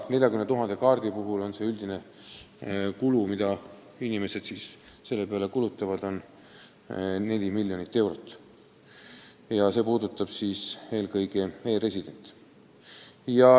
40 000 kaardi puhul on inimeste üldine kulu 4 miljonit eurot ja see puudutab eelkõige e-residente.